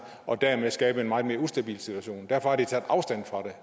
og dermed skabe en meget mere ustabil situation derfor har de taget afstand fra